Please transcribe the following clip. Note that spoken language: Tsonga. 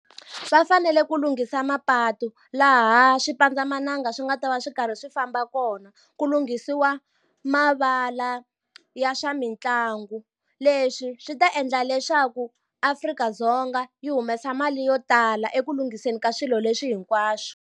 Va fanele ku lunghisa mapatu laha swi pandzamananga swi nga ta va swi karhi swi famba kona ku lunghisiwa mavala ya swa mitlangu leswi swi ta endla leswaku Afrika-Dzonga yi humesa mali yo tala eku lunghiseni ka swilo leswi hinkwaswo.